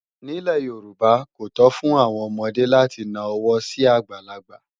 Nílẹ̀ Yorùbá, kò tó fún àwọn ọmọdé láti na ọwọ́ sí àgbàlagbà